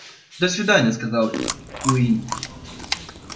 до свидания сказал куинн